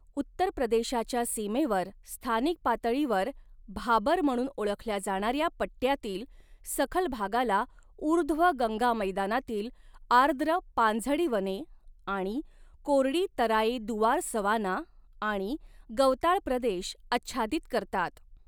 उत्तर प्रदेशाच्या सीमेवर स्थानिक पातळीवर भाबर म्हणून ओळखल्या जाणाऱ्या पट्ट्यातील सखल भागाला ऊर्ध्व गंगा मैदानातील आर्द्र पानझडी वने आणि कोरडी तराई दुआर सवाना आणि गवताळ प्रदेश आच्छादित करतात.